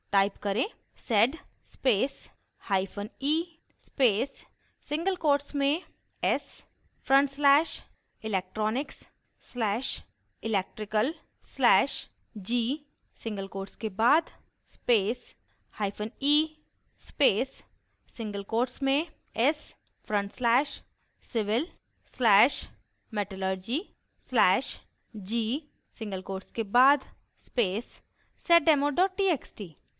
type करें: